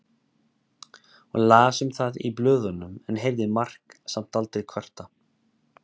Hún las um það í blöðunum en heyrði Mark samt aldrei kvarta.